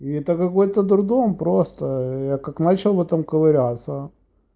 это какой-то дурдом просто я как начал в этом ковыряться